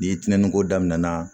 Ni tiɲɛniko daminɛna